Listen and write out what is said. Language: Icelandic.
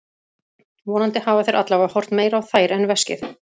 Vonandi hafa þeir allavega horft meira á þær en veskið.